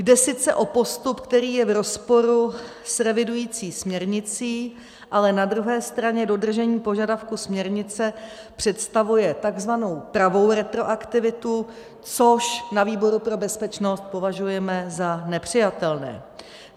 Jde sice o postup, který je v rozporu s revidující směrnicí, ale na druhé straně dodržení požadavku směrnice představuje tzv. pravou retroaktivitu, což na výboru pro bezpečnost považujeme za nepřijatelné.